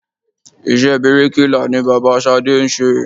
Iṣẹ́ bíríkilà ni bàbá Ṣadé ń ṣe.